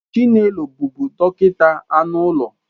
Chinelo bụbu dọkịta anụ ụlọ